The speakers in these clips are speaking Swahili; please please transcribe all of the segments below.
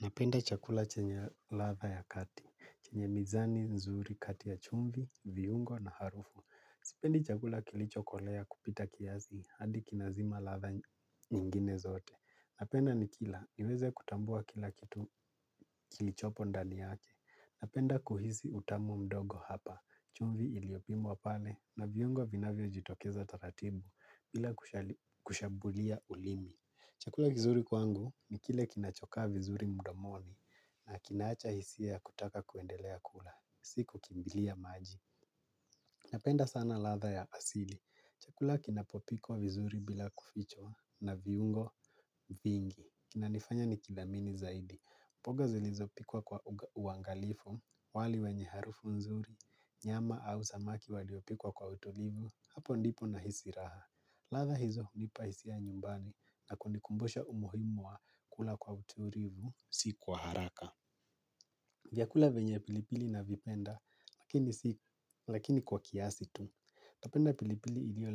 Napenda chakula chenye ladha ya kati, chenye mizani, nzuri, kati ya chumvi, viungo na harufu. Sipendi chakula kilichokolea kupita kiasi, hadi kinazima ladha nyingine zote. Napenda nikila, niweze kutambua kila kitu kilichopo ndani yake. Napenda kuhisi utamu mdogo hapa, chumvi iliopimwa pale, na viungo vinavyo jitokeza taratibu, bila kushambulia ulimi. Chakula kizuri kwangu ni kile kinachokaa vizuri mdomoni na kinacho hisia ya kutaka kuendelea kula, si kukimbilia maji. Napenda sana ladha ya asili. Chakula kinapopikwa vizuri bila kufichwa na viungo vingi. Kinanifanya nikidhamini zaidi. Mboga zilizopikwa kwa uangalifu, wali wenye harufu nzuri, nyama au samaki waliopikwa kwa utulivu, hapo ndipo nahisi raha. Ladha hizo hunipa hisia nyumbani na kunikumbusha umuhimu wa kula kwa utulivu si kwa haraka. Vyakula venye pilipili navipenda lakini kwa kiasi tu. Napenda pilipili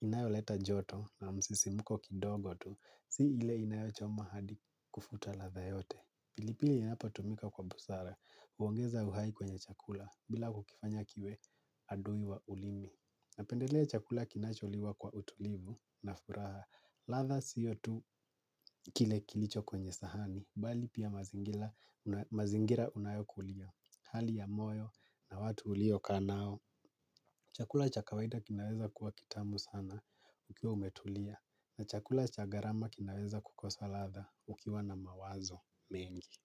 inayoleta joto na msisimuko kidogo tu. Si ile inayochoma hadi kufuta ladha yote. Pilipili inapotumika kwa busara. Huongeza uhai kwenye chakula bila kukifanya kiwe adui wa ulimi. Napendelea chakula kinacholiwa kwa utulivu na furaha, ladha siyo tu kile kilicho kwenye sahani, bali pia mazingira mazingira unayokulia, hali ya moyo na watu uliokaanao. Chakula cha kawaida kinaweza kuwa kitamu sana ukiwa umetulia, na chakula cha gharama kinaweza kukosa ladha ukiwa na mawazo mengi.